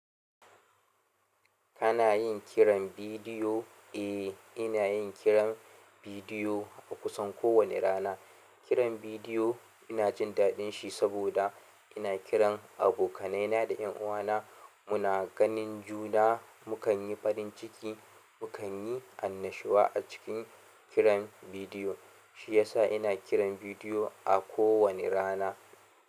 Kana yin kiran bidiyo? Eh, ina yin kiran bidiyo a kusan kowane rana. Kiran bidiyo ina jin daɗin shi saboda ina kiran abokanaina da ƴanuwana. Muna ganin juna, mu kanyi farin ciki, mu kanyi annashuwa a cikin kiran bidiyo. Shiyasa ina kiran bidiyo a kowane rana.